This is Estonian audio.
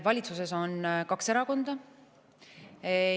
Valitsuses on kaks erakonda.